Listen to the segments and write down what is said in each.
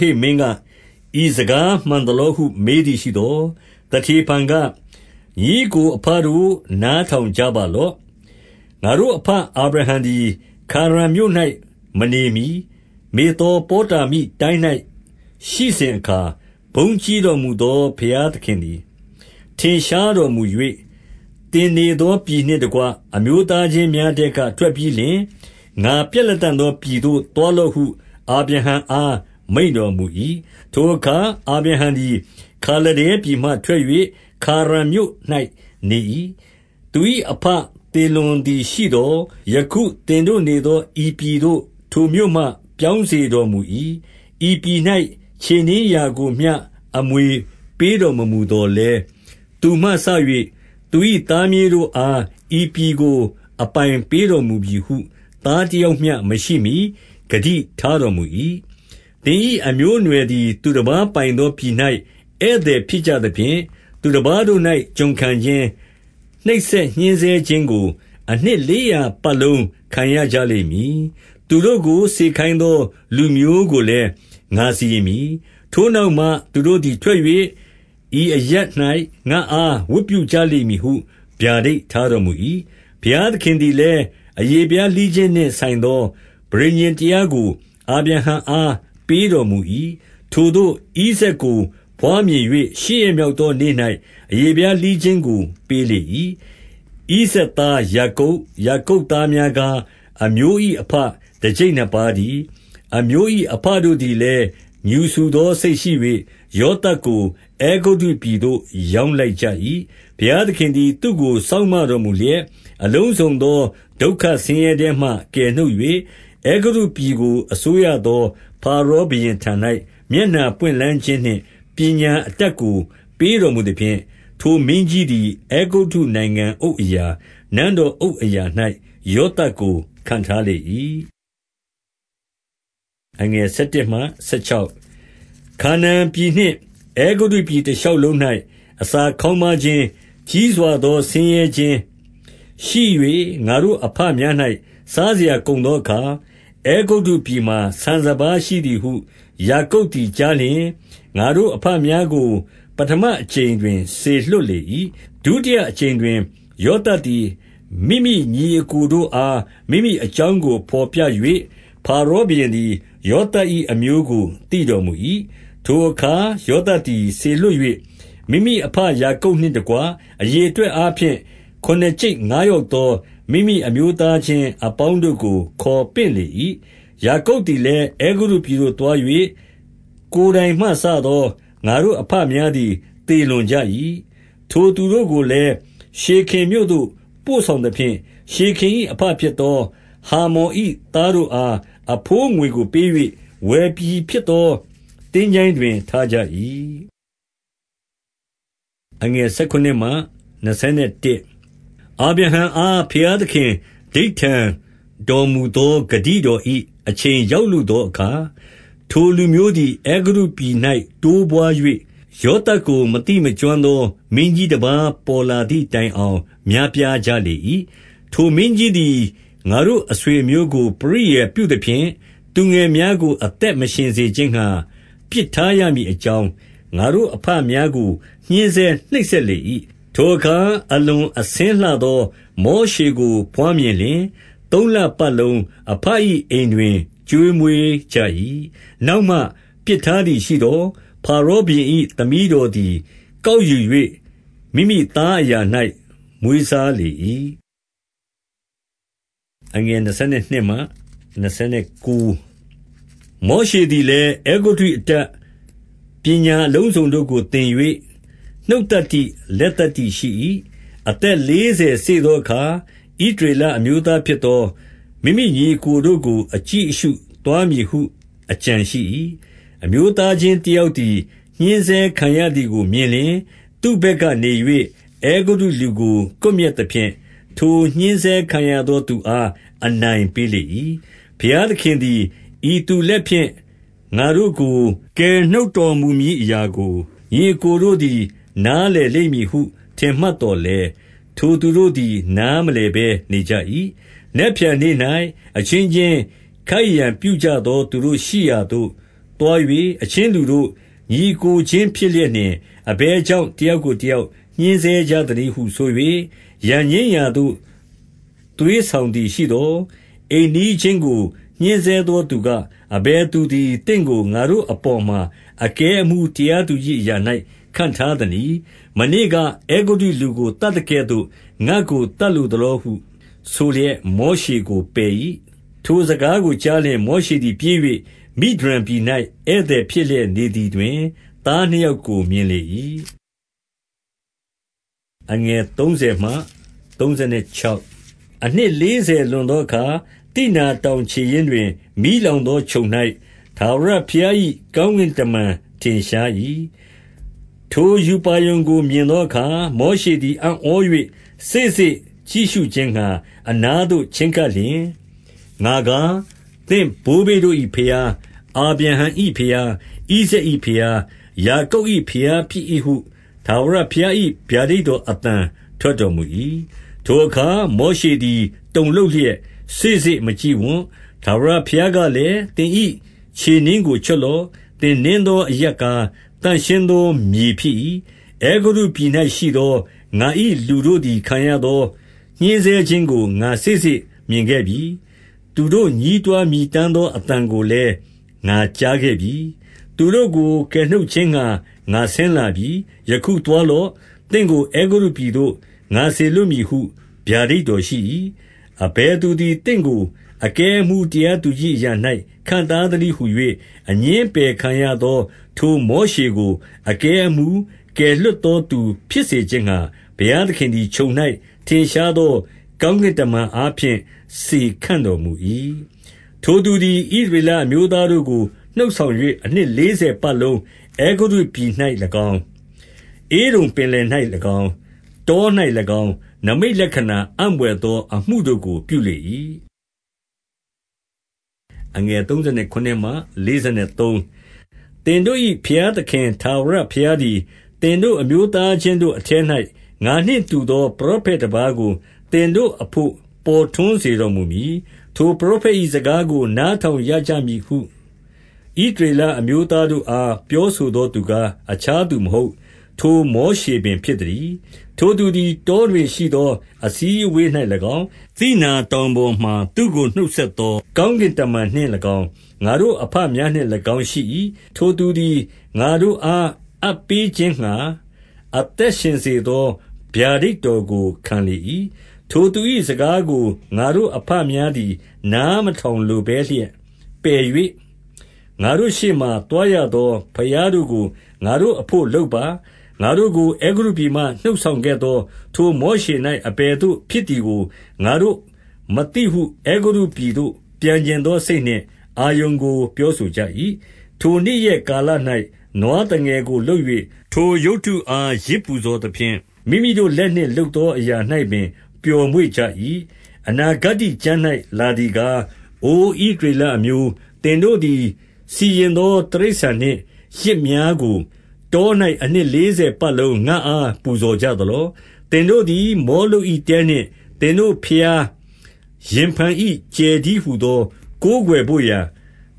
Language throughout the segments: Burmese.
ဟိတ် မင်းက၊ ဤစကားမှန် သလောဟု မေးသည်ရှိသော်၊ 2 သတေဖန်က၊ ညီအစ်ကို အဘတို့ နားထောင် ကြပါလော့။ ငါတို့ အဘအာဗြဟံသည်၊ ခါရန်မြို့၌မနေမှီ၊ မေသောပေါတာမိအရပ်၌ ရှိစဉ်အခါ၊ ဘုန်းကြီးတော် မူသော ဘုရားသခင်သည် ထင်ရှားတော်မူ၍၊ 3 သင်နေသော ပြည်နှင့်တကွ အမျိုးသားချင်း များထဲကထွက် ပြီးလျှင်၊ ငါပြလတံ့သော ပြည်သို့သွား လော့ဟု အာဗြဟံအားမိန့်တော်မူ၏။ 4 ထိုအခါ အာဗြဟံ သည် ခါလဒဲပြည်မှထွက်၍ ခါရန်မြို့၌နေ၏။ သူ၏ အဘ သေလွန်သည်ရှိသော်၊ ယခုသင်တို့နေသော ဤပြည်သို့ ထိုမြို့မှ ပြောင်းစေတော်မူ၏။ 5 ဤပြည်၌ ခြေနင်းရာကိုမျှ အမွေပေးတော် မမူ သော်လည်း၊ သူမှ စ၍ သူ၏သားမြေးတို့အား ဤပြည်ကိုအပိုင်းပေးတော်မူမည်ဟု သားတယောက်မျှ မရှိမှီ ဂတိထားတော်မူ၏။ 6 သင်၏အမျိုးအနွယ်သည် သူတပါးပိုင်သော ပြည်၌ဧည့်သည် ဖြစ်ကြသဖြင့်၊ သူတပါးတို့၌ ကျွန်ခံခြင်း၊ နှိပ်စက်ညှဉ်းဆဲခြင်းကို အနှစ် လေးရာပတ်လုံး ခံရကြ လိမ့်မည်။ 7 သူတို့ကို စေခိုင်းသောလူမျိုးကိုလည်း ငါစီရင် မည်။ ထိုနောက်မှ သူတို့သည်ထွက်၍ ဤအရပ်၌ ငါ့အား ဝတ်ပြုကြလိမ့်မည်ဟု ဗျာဒိတ် ထားတော်မူ၏။ 8 ဘုရားသခင်သည်လည်း အရေဖျားလှီးခြင်းနှင့် ဆိုင်သော ပဋိညာဉ်တရားကို အာဗြဟံအား ပေးတော်မူ ၏။ ထိုသို့ဣဇာတ်ကို ဘွားမြင်၍ ရှစ်ရက်မြောက်သော နေ့၌ အရေဖျားလှီးခြင်းကိုပေးလေ၏။ ဣဇာတ်သား ယာကုပ်၊ ယာကုပ်သားများကား၊ အမျိုး၏ အဘ တကျိတ်နှစ်ပါးတည်း။ 9 အမျိုး၏ အဘတို့သည် လည်း ငြူစူသောစိတ်ရှိ၍၊ ယောသပ်ကို အဲဂုတ္တုပြည်သို့ ရောင်းလိုက်ကြ၏။ ဘုရားသခင်သည် သူ့ကိုစောင့်မတော် မူလျက်၊ 10 အလုံးစုံသော ဒုက္ခဆင်းရဲထဲမှ ကယ်နှုတ်၍၊ အဲဂုတ္တုပြည်ကို အစိုးရသော ဖာရောဘုရင်ထံ၌ မျက်နှာ ပွင့်လန်းခြင်းနှင့် ပညာအတတ် ကိုပေးတော်မူသဖြင့်၊ ထိုမင်းကြီးသည် အဲဂုတ္တုနိုင်ငံအုပ်အရာ၊ နန်းတော် အုပ်အရာ၌ ယောသပ်ကိုခန့်ထားလေ၏။ 11 ခါနာန်ပြည်နှင့်အဲဂုတ္တုပြည် တရှောက်လုံး၌ အစာခေါင်းပါးခြင်း၊ ကြီးစွာသောဆင်းရဲခြင်းရှိ၍ ငါတို့ အဘများ၌ စားစရာကုန်သော အခါ၊ အဲဂုတ္တုပြည်မှာ ဆန်စပါးရှိသည်ဟု ယာကုပ်သည်ကြားလျှင်၊ 12 ငါတို့အဘများကို ပဌမအကြိမ်တွင် စေလွှတ် လေ၏။ 13 ဒုတိယအကြိမ်တွင် ယောသပ်သည် မိမိညီ အစ်ကိုတို့အား မိမိအကြောင်းကို ဘော်ပြ၍၊ ဖာရော ဘုရင်သည် ယောသပ်၏ အမျိုးကို သိတော်မူ၏။ 14 ထိုအခါ ယောသပ်သည်စေလွှတ်၍ မိမိအဘ ယာကုပ်နှင့်တကွ အရေအတွက်အားဖြင့် ခုနစ်ကျိပ် ငါးယောက်သော မိမိအမျိုးသားချင်း အပေါင်းတို့ကို ခေါ်ပင့်လေ၏။ 15 ယာကုပ်သည်လည်း အဲဂုတ္တုပြည်သို့သွား၍ ကိုယ်တိုင်မှစသော ငါတို့အဘများသည် သေလွန်ကြ၏။ 16 ထိုသူတို့ကိုလည်း ရှေခင်မြို့သို့ပို့ဆောင်သဖြင့်၊ ရှေခင်၏အဘ ဖြစ်သောဟာမော်၏ သားတို့အား အဘိုးငွေကိုပေး၍ဝယ်ပြီဖြစ်သော သင်္ချိုင်းတွင်း၌ ထားကြ၏။ 17 အာဗြဟံအား ဘုရားသခင် ဓိဋ္ဌာန်တော်မူသော ဂတိတော်၏ အချိန်ရောက်လုသောအခါ၊ 18 ထိုလူမျိုးသည် အဲဂုတ္တုပြည်၌ တိုးပွါး၍၊ ယောသပ်ကိုမသိ မကျွမ်းသော မင်းကြီးတပါး ပေါ်လာ သည်တိုင်အောင် များပြားကြလေ၏။ 19 ထိုမင်းကြီးသည် ငါတို့အဆွေအမျိုးကို ပရိယာယ်ပြုသဖြင့်၊ သူငယ်များကိုအသက်မရှင်စေခြင်းငှါ ပစ်ထားရမည်အကြောင်း ငါတို့ အဘများကို ညှဉ်းဆဲ နှိပ်စက်လေ၏။ 20 ထိုအခါအလွန်အဆင်းလှသော မောရှေကို ဘွားမြင်လျှင်၊ သုံးလပတ်လုံးအဘ၏ အိမ်တွင် ကျွေးမွေး ကြ၏။ 21 နောက်မှပစ်ထားသည်ရှိသော်၊ ဖာရောဘုရင် သမီးတော်သည် ကောက်ယူ၍ မိမိသားအရာ၌ မွေးစား လေ၏။ 22 မောရှေသည်လည် အဲဂုတ္တု အတတ်၊ ပညာ အလုံးစုံတို့ကို သင်၍၊ နှုတ်သတ္တိ၊ လက်သတ္တိရှိ၏။ 23 အသက်လေးဆယ်စေ့သောအခါ ဣလရေလ အမျိုးသားဖြစ်သော မိမိညီအစ်ကိုတို့ကို အကြည့်အရှု သွားမည်ဟု အကြံရှိ၏။ 24 အမျိုးသားချင်းတယောက်သည် ညှဉ်းဆဲခံရ သည်ကို မြင်လျှင် သူ့ဘက်ကနေ၍ အဲဂုတ္တုလူကို ကွပ် မျက်သဖြင့်၊ ထိုညှဉ်းဆဲခံရသော သူအား အနိုင်ပေးလေ ၏။ 25 ဘုရားသခင်သည် ဤသူလက်ဖြင့် ငါတို့ကို ကယ်နှုတ်တော် မူမည်အရာကို ညီအစ်ကိုတို့သည် နား လည်လိမ့်မည်ဟု ထင်မှတ်သော်လည်း၊ ထိုသူတို့သည် နားမလည်ဘဲနေကြ၏။ 26 နက်ဖြန်နေ့၌ အချင်းချင်း ခိုက်ရန်ပြုကြသော သူတို့ရှိရာသို့ သွား၍၊ အချင်းလူတို့၊ ညီအစ်ကိုချင်း ဖြစ်လျက်နှင့် အဘယ်ကြောင့် တယောက်ကိုတယောက် ညှဉ်းဆဲကြသနည်းဟု ဆို၍ ရန်ငြိမ်းရာသို့ သွေးဆောင် သည်ရှိသော်၊ 27 အိမ်နီးချင်းကို ညှဉ်းဆဲသောသူက၊ အဘယ်သူသည် သင့်ကို ငါတို့အပေါ်မှာအကဲအမှူး တရားသူကြီး အရာ၌ ခန့်ထားသနည်း။ 28 မနေ့ကအဲဂုတ္တုလူကို သတ်သကဲ့သို့ ငါ့ကိုသတ် လိုသလောဟု ဆိုလျက် မောရှေကိုပယ်၏။ 29 ထိုစကားကိုကြားလျှင်၊ မောရှေသည် ပြေး၍ မိဒျန်ပြည်၌ ဧည့်သည်ဖြစ်လျက်နေသည်တွင် သားနှစ် ယောက်ကိုမြင်လေ၏။ 30 အနှစ်လေးဆယ်လွန်သောအခါ၊ သိနာတောင် ခြေရင်း တောတွင်၊ မီးလောင်သောချုံ၌ ထာဝရဘုရား၏ ကောင်းကင်တမန်ထင် ရှား၏။ 31 ထိုရူပါရုံကို မြင်သောအခါမောရှေသည် အံ့ဩ၍စေ့စေ့ကြည့် ရှုခြင်းငှါ အနားသို့ချဉ်းကပ်လျှင်၊ 32 ငါကား သင့်ဘိုးဘေးတို့၏ဘုရား၊ အာဗြဟံ၏ ဘုရား၊ ဣဇာက်၏ဘုရား၊ ယာကုပ်၏ဘုရားဖြစ်၏ ဟုထာဝရဘုရား၏ ဗျာဒိတ် တော်အသံထွက်တော်မူ၏။ ထိုအခါ မောရှေသည် တုန်လှုပ်လျက် စေ့စေ့ မကြည့်ဝံ။ 33 ထာဝရဘုရားကလည်း၊ သင်၏ခြေနင်းကို ချွတ်လော့။ သင်နင်း သောအရပ်ကား သန့်ရှင်းသောမြေ ဖြစ်၏။ 34 အဲဂုတ္တုပြည်၌ရှိသော ငါ၏လူတို့သည် ခံရသော ညှဉ်းဆဲခြင်းကို ငါစေ့စေ့မြင်ခဲ့ပြီ။ သူတို့ညည်းတွား မြည် တမ်းသောအသံကိုလည်း ငါကြားခဲ့ပြီ။ သူတို့ကို ကယ်နှုတ် ခြင်းငှါ ငါဆင်းလာပြီ။ ယခုသွားလော့။ သင့်ကို အဲဂုတ္တု ပြည်သို့ငါစေလွှတ်မည်ဟု ဗျာဒိတ်တော်ရှိ၏။ 35 အဘယ်သူသည် သင့်ကို အကဲအမှူးတရား သူကြီးအရာ၌ ခန့်ထားသနည်းဟူ၍ အငြင်းအပယ်ခံ ရသော ထိုမောရှေကို အကဲအမှူး၊ ကယ်လွှတ်သောသူ ဖြစ်စေခြင်းငှါ၊ ဘုရားသခင်သည်ချုံ၌ ထင်ရှားသော ကောင်းကင်တမန်အားဖြင့် စေခန့်တော်မူ၏။ 36 ထိုသူသည် ဣသရေလအမျိုးသားတို့ကို နှုတ် ဆောင်၍ အနှစ် လေးဆယ်ပတ်လုံး အဲဂုတ္တုပြည်၌၎င်း၊ ဧဒုံပင်လယ်၌၎င်း၊ တော၌၎င်း၊ နိမိတ်လက္ခဏာ၊ အံ့ဘွယ်သောအမှုတို့ကိုပြုလေ၏။ 37 သင်တို့၏ ဘုရားသခင်ထာဝရဘုရားသည်၊ သင်တို့အမျိုးသား ချင်းတို့အထဲ၌ ငါနှင့်တူသော ပရောဖက်တပါးကို သင်တို့အဘို့ ပေါ်ထွန်း စေတော်မူ မည်။ ထိုပရောဖက်၏ စကားကိုနားထောင်ရကြမည်ဟု ဣသရေလအမျိုးသားတို့အားပြောဆိုသောသူကား အခြားသူမဟုတ်၊ ထိုမောရှေပင်ဖြစ်သတည်း။ 38 ထိုသူသည် တောတွင်ရှိသော အစည်းအဝေး၌ ၎င်း၊ သိနာ တောင်ပေါ်မှာ သူ့ကိုနှုတ်ဆက်သော ကောင်းကင်တမန်နှင့်၎င်း၊ ငါတို့ အဘများနှင့်၎င်းရှိ၏။ ထိုသူသည် ငါတို့အား အပ်ပေးခြင်းငှါ အသက်ရှင် စေသော ဗျာဒိတ်တော်ကိုခံလေ၏။ 39 ထိုသူ၏စကားကိုငါတို့အဘများသည် နားမထောင်လိုဘဲလျက် ပယ်၍၊ 40 ငါတို့ရှေ့မှာ သွားရသော ဘုရားတို့ကို ငါတို့အဘို့လုပ်ပါ။ ငါတို့ကို အဲဂုတ္တုပြည်မှ နှုတ်ဆောင်ခဲ့သော ထိုမောရှေ၌ အဘယ်သို့ ဖြစ်သည်ကို ငါတို့မသိဟု အဲဂုတ္တုပြည်သို့ ပြန်ချင်သောစိတ်နှင့် အာရုန်ကို ပြောဆိုကြ၏။ 41 ထိုနေ့ရက်ကာလ၌ နွားသငယ်ကို လုပ်၍ ထိုရုပ်တုအား ယဇ်ပူဇော်သဖြင့် မိမိတို့လက်နှင့် လုပ်သော အရာ၌ပင် ပျော်မွေ့ကြ၏။ အနာဂတ္တိကျမ်း၌ လာသည် ကား၊ 42 အိုဣသရေလအမျိုး၊ သင်တို့သည် စီရင်သော တိရစ္ဆာန်နှင့် ယဇ်များကိုတော၌ အနှစ်လေးဆယ်ပတ်လုံး ငါ့အား ပူဇော်ကြသလော။ 43 သင်တို့သည် မောလုပ်၏တဲနှင့်သင်တို့ဘုရား ရင်ဖန်၏ ကြယ်တည်း ဟူသောကိုးကွယ်ဘို့ရာ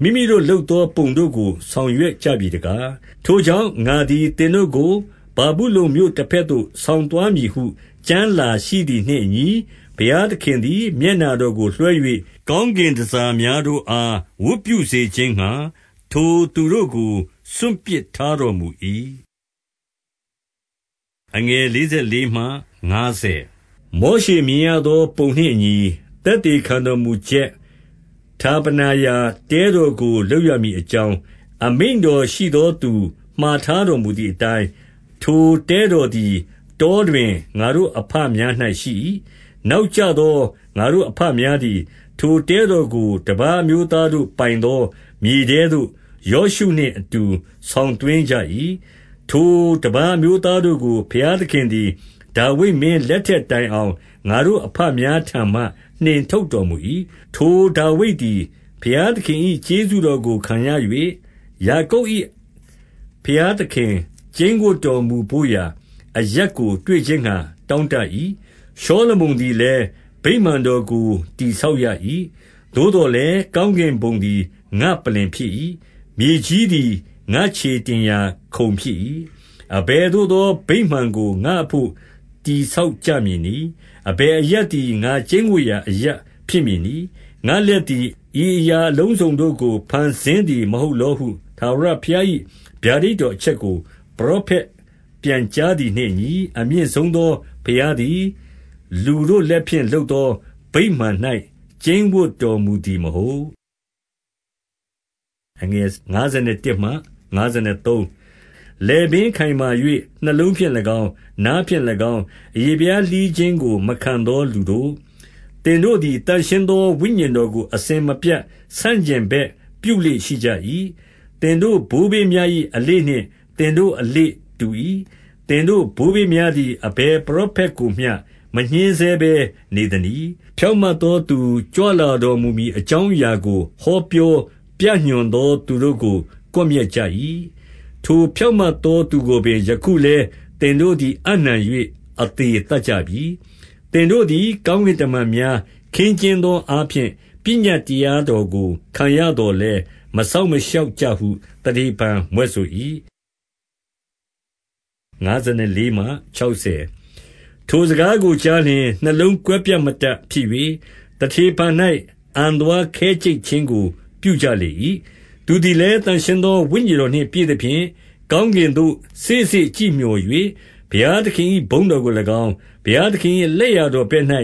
မိမိ တို့လုပ်သော ပုံတို့ကို ဆောင်ရွက်ကြပြီ တကား။ ထိုကြောင့် ငါသည် သင်တို့ကို ဗာဗုလုန်မြို့ တဘက်သို့ ဆောင်သွားမည်ဟု ကျမ်းလာရှိသည်နှင့်အညီ၊ ဘုရားသခင်သည် မျက်နှာတော်ကိုလွှဲ၍၊ ကောင်းကင် တန်ဆာများတို့အား ဝတ်ပြုစေခြင်းငှါ ထိုသူတို့ကို စွန့်ပစ်ထားတော်မူ၏။ 44 မောရှေမြင်ရသောပုံနှင့်အညီ၊ သက်သေခံတော် မူချက် ဌာပနာ ရာတဲတော်ကို လုပ်ရမည်အကြောင်း အမိန့်တော်ရှိသောသူမှာ ထားတော်မူသည်အတိုင်း၊ ထိုတဲတော်သည် တောတွင် ငါတို့အဘများ၌ရှိ၏။ 45 နောက်ကျသော ငါတို့အဘများသည် ထိုတဲ တော်ကို တပါးအမျိုးသားတို့ ပိုင်သော မြေထဲသို့ ယောရှုနှင့်အတူ ဆောင်သွင်းကြ၏။ ထိုတပါး အမျိုးသား တို့ကို ဘုရားသခင်သည် ဒါဝိဒ်မင်းလက်ထက်တိုင်အောင် ငါတို့အဘများထံမှ နှင်ထုတ်တော်မူ၏။ 46 ထိုဒါဝိဒ်သည် ဘုရားသခင်၏ ကျေးဇူးတော်ကို ခံရ၍၊ ယာကုပ်၏ ဘုရားသခင် ကျိန်းဝပ်တော်မူဘို့ရာ အရပ်ကို တွေ့ခြင်းငှါ တောင့်တ၏။ 47 ရှောလမုန်သည်လည်း ဗိမာန်တော်ကို တည် ဆောက်ရ၏။ 48 သို့သော်လည်း ကောင်းကင်ဘုံသည် ငါ့ပလ္လင် ဖြစ်၏။ 49 မြေကြီးသည် ငါ့ခြေတင်ရာခုံဖြစ်၏။ အဘယ် သို့သော ဗိမာန် ကိုငါ့အဘို့ တည်ဆောက်ကြမည်နည်း။ အဘယ်အရပ်သည် ငါ့ကျိန်းဝပ် ရာအရပ်ဖြစ်မည်နည်။ 50 ငါ့လက်သည် ဤအရာအလုံးစုံတို့ကို ဖန်ဆင်းသည် မဟုတ်လောဟု ထာဝရဘုရား၏ ဗျာဒိတ်တော်အချက်ကို ပရောဖက်ပြန်ကြားသည်နှင့်အညီ၊ အမြင့်ဆုံးသော ဘုရားသည် လူတို့ လက်ဖြင့် လုပ်သောဗိမာန်၌ ကျိန်းဝပ် တော်မူသည်မဟုတ်။ 51 လည်ပင်းခိုင်မာ၍ နှလုံးဖြင့်၎င်း၊ နားဖြင့်၎င်း အရေဖျားလှီးခြင်းကို မခံသောလူတို့၊ သင်တို့သည် သန့်ရှင်းသော ဝိညာဉ်တော်ကို အစဉ်မပြတ် ဆန့်ကျင် ဘက် ပြုလေ့ရှိကြ၏။ သင်တို့ဘိုးဘေးများ၏ အလေ့နှင့် သင်တို့အလေ့တူ၏။ 52 သင်တို့ဘိုးဘေးများသည် အဘယ်ပရောဖက်ကို မျှ မညှဉ်းဆဲဘဲ နေသနည်း။ ဖြောင့်မတ်သောသူ ကြွလာတော်မူမည်အကြောင်းအရာကို ဟောပြော ပြညွှန်သော သူတို့ကို ကွပ်မျက်ကြ၏။ ထိုဖြောင့်မတ်သော သူကိုပင် ယခုလည်း သင်တို့သည် အပ်နှံ၍ အသေသတ် ကြပြီ။ 53 သင်တို့သည် ကောင်းကင်တမန်များ ခင်းကျင်း သော အားဖြင့် ပညတ်တရားတော်ကို ခံရသော်လည်း မစောင့်မရှောက်ကြဟု သတေဖန် မြွက်ဆို၏။ 54 ထိုစကားကိုကြားလျှင် နှလုံးကွဲပြတ်မတတ် ဖြစ်၍၊ သတေဖန်၌ အံသွားခဲကြိတ်ခြင်းကို ပြုကြလေ၏။ 55 သူသည်လည်း သန့်ရှင်းသော ဝိညာဉ်တော်နှင့် ပြည့်သဖြင့်၊ ကောင်းကင်သို့ စေ့စေ့ကြည့်မျှော်၍ ဘုရားသခင်၏ ဘုန်းတော်ကို၎င်း၊ ဘုရားသခင်၏ လက်ျာတော်ဘက်၌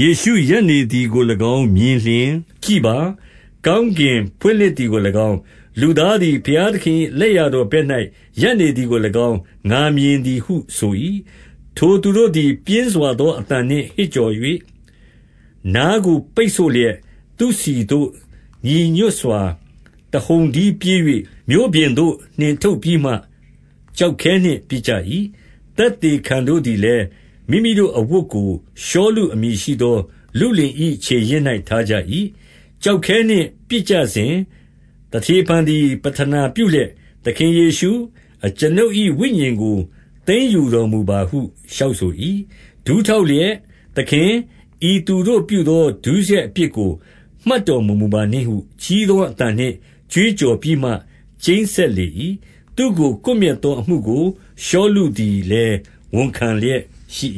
ယေရှုရပ်နေသည်ကို၎င်း မြင်လျှင်၊ 56 ကြည့်ပါ။ ကောင်းကင်ဖွင့်လှစ်သည်ကို၎င်း၊ လူသားသည် ဘုရားသခင်၏လက်ျာတော်ဘက်၌ ရပ်နေသည်ကို၎င်း၊ ငါမြင်သည်ဟုဆို ၏။ 57 ထိုသူတို့သည် ပြင်းစွာသော အသံနှင့် ဟစ်ကြော်၍ နားကိုပိတ် ဆို့လျက် သူ့ဆီသို့ညီညွတ်စွာ တဟုန်တည်းပြေး၍၊ 58 မြို့ပြင်သို့နှင့်ထုတ်ပြီးမှ ကျောက်ခဲနှင့်ပစ်ကြ၏။ သက်သေခံ တို့သည်လည်း မိမိတို့အဝတ်ကို ရှောလု အမည်ရှိသော လုလင်၏ခြေရင်း ၌ထားကြ၏။ 59 ကျောက်ခဲနှင့်ပစ်ကြစဉ် သတေဖန်သည် ပဌနာ ပြုလျက်၊ သခင်ယေရှု၊ အကျွန်ုပ်၏ဝိညာဉ်ကို သိမ်းယူတော်မူပါဟု လျှောက်ဆို၏။ 60 ဒူးထောက်လျက်၊ သခင်၊ ဤသူတို့ပြုသော ဒုစရိုက်အပြစ်ကို မှတ်တော်မမူပါနှင့်ဟု ကြီးသော အသံနှင့် ကြွေးကြော်ပြီးမှ ကျိန်းစက်လေ၏။ သူ့ကို ကွပ်မျက်သော အမှုကို ရှောလုသည်လည်း ဝန်ခံလျက် ရှိ